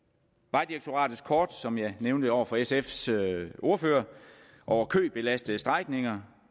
vejdirektoratets kort som jeg nævnte over for sfs ordfører over købelastede strækninger